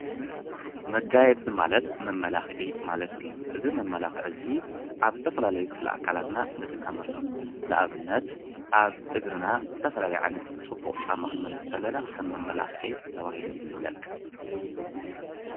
መጋየፂ ማለት መማላክዒ ማለት እዩ፡፡ እዚ መማላክዒ እዚ ኣብ ዝተፈላለዩ ክፍለ ኣካላትና ንጥቀመሎም፡፡ ንኣብነት ኣብ እግርና ፅቡቅ ጫማ ክንገብር ከለና ከም መማላክዒ ተባሂሉ ይፍለጥ፡፡